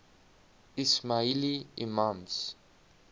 ismaili imams